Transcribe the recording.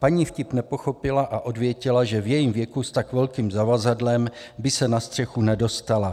Paní vtip nepochopila a odvětila, že v jejím věku s tak velkým zavazadlem by se na střechu nedostala.